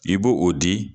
I b'o o di